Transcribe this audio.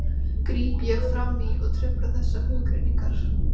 gríp ég fram í og trufla þessar hugrenningar.